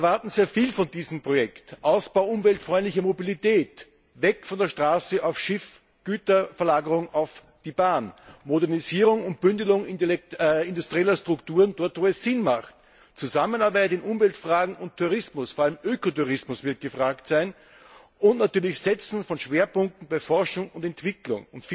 Wir erwarten sehr viel von diesem Projekt den Ausbau umweltfreundlicher Mobilität, weg von der Straße auf das Schiff, die Güterverlagerung auf die Bahn, die Modernisierung und Bündelung industrieller Strukturen dort, wo es Sinn hat, die Zusammenarbeit in Umweltfragen und Tourismus vor allem Ökotourismus wird gefragt sein und natürlich das Setzen von Schwerpunkten bei Forschung und Entwicklung.